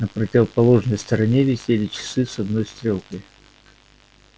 на противоположной стене висели часы с одной стрелкой